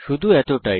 শুধু এতটাই